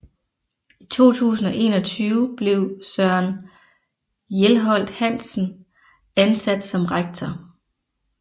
I 2021 blev Søren Hjelholt Hansen ansat som rektor